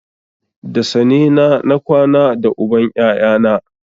Da sane na na kwana da uban ƴaƴana